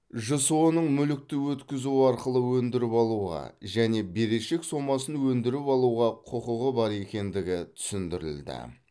жсо ның мүлікті өткізу арқылы өндіріп алуға және берешек сомасын өндіріп алуға құқығы бар екендігі түсіндірілді